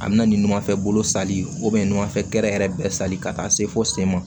A bɛna ni numanfɛn bolo sali numanfɛ yɛrɛ bɛɛ sali ka taa se fo sen ma